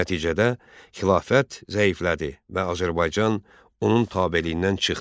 Nəticədə xilafət zəiflədi və Azərbaycan onun tabeliyindən çıxdı.